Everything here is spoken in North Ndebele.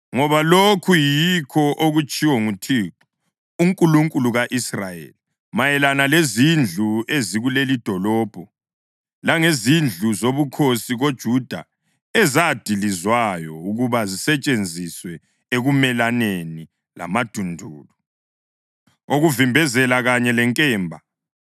Ngoba lokhu yikho okutshiwo nguThixo, uNkulunkulu ka-Israyeli mayelana lezindlu ezikulelidolobho langezindlu zobukhosi koJuda ezadilizwayo ukuba zisetshenziswe ekumelaneni lamadundulu okuvimbezela kanye lenkemba